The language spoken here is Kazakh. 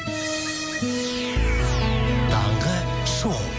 таңғы шоу